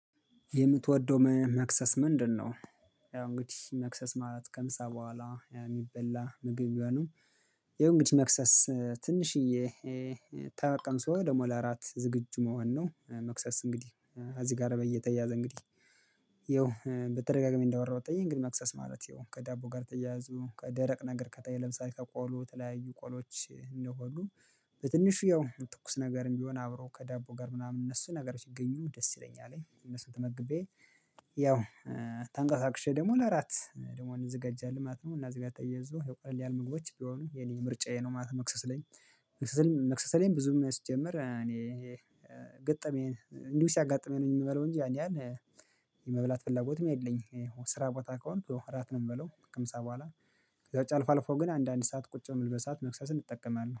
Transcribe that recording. የምትወደው መክሰስ ምንድነው? ያው እንግዲህ መክሰስ ማለት ከምሳ በኋላ የሚበላ ምግብ ቢሆንም። ያው እንግዲ መክሰስ ትንሽዬ። ተቀምሶ ደሞ ለእራት ዝግጁ መሆን ነው። መክሰስ እንግዲህ እዚ ጋራ በየተያዘ እንግዲህ። ይኸው በተደጋጋሚ እንዳወራሁት ጠየኝ ግን መክሰስ ማለት ይሁን ከዳቦ ጋር ተያያዙ ከደረቅ ነገር ከጠየለም ለምሳሌ ከቆሎ የተለያዩ ቆሎች እነሆ አሉ። በትንሽዬው ትኩስ ነገርም ቢሆን አብረው ከዳቦ ጋር ምናምን እነሱ ነገሮች ሲገኙ ደስ ይለኛል እነሱን ተመግቤ። ያው ተንቀሳቅሼ ደግሞ ለእራት ደግሞ እንዘገጃለን ማለት ነው። እና ከዚህ ጋር ተያይዞ ቀላል ምግቦች ቢሆን የኔ ምርጫዬ ነው። ማለት መክሰስ ላይ። መክሰስ ላይ ብዙም የሚያስጀምር እኔ ይሄ ገጠመኝ እንዲሁ ሲያጋጥመኝ ነው። የምበላው እንጂ ያን ያን የመብላት ፍላጎትም የለኝም። ስራ ቦታ ከሆንኩ እራት ነው የምበላው ከምሳ በኋላ። ከዛ ውጪ አልፎ አልፎ ግን አንዳንድ ሰዓት ቁጭ የምልበት መክሰስን እጠቀማለሁ